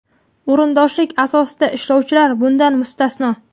o‘rindoshlik asosida ishlovchilar bundan mustasno.